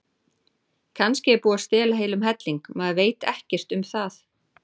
Kannski er búið að stela heilum helling, maður veit ekkert um það.